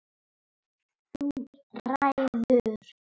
Þú ræður.